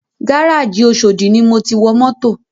Gárájì oshodi ni mo ti wọ mọ́tò